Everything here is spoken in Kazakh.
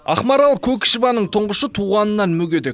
ақмарал көкішеваның тұңғышы туғанынан мүгедек